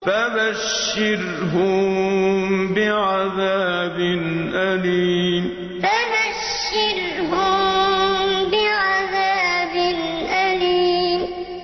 فَبَشِّرْهُم بِعَذَابٍ أَلِيمٍ فَبَشِّرْهُم بِعَذَابٍ أَلِيمٍ